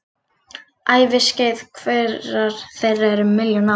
Æviskeið hverrar þeirra er um milljón ár.